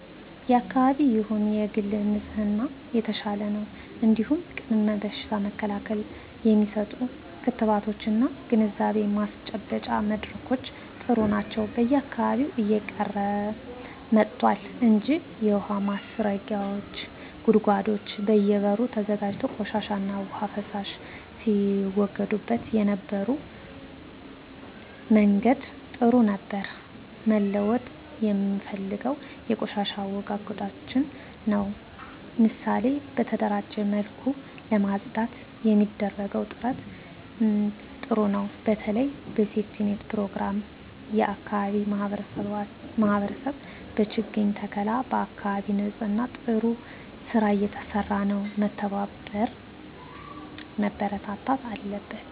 የአካባቢ ይሁን የግል ንጽህና የተሻለ ነው እንዲሁም ቅድመ በሽታ መከላከል የሚሰጡ ክትባቶች እና ግንዛቤ ማስጨበጫ መድረኮች ጥሩ ናቸው በየአካባቢው እየቀረ መጥቷል እንጂ የውሀ ማስረጊያ ጉድጓዶች በየ በሩ ተዘጋጅቶ ቆሻሻ ዉሃና ፍሳሽ ሲወገድበት የነበረበት መንገድ ጥሩ ነበር መለወጥ የምፈልገው የቆሻሻ አወጋገዳችንን ነው ምሳሌ በተደራጀ መልኩ ለማፅዳት የሚደረገው ጥረት ጥሩ ነው በተለይ በሴፍትኔት ፕሮግራም የአካባቢ ማህበረሰብ በችግኝ ተከላ በአካባቢ ንፅህና ጥሩ ስራ እየተሰራ ነው መበርታት አለበት